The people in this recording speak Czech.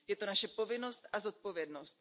Je to naše povinnost a zodpovědnost.